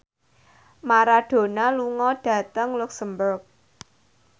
Maradona lunga dhateng luxemburg